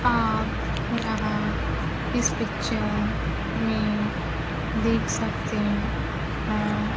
आप यहां इस पिक्चर में देख सकते हैं।